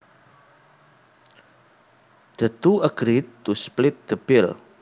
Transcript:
The two agreed to split the bill